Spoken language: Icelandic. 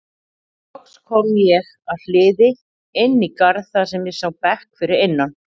Loks kom ég að hliði inn í garð þar sem ég sá bekk fyrir innan.